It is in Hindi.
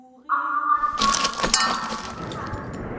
अब हमारे पास 4 users हैं